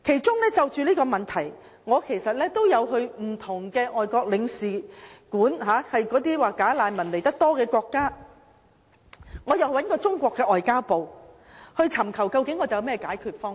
就這個問題，我有到訪那些"假難民"原本所屬國家的駐港領事館，我亦到訪中國外交部駐港特派員公署，尋求解決方法。